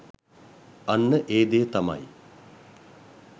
අන්න ඒ දේ තමයි